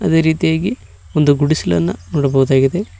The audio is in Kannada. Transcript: ಅದೆ ರೀತಿಯಾಗಿ ಒಂದು ಗುಡಿಸಿಲ್ಲನ ನೋಡಬಹುದಾಗಿದೆ.